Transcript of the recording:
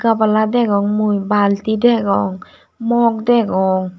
gabala degong mui balti degong mog degong.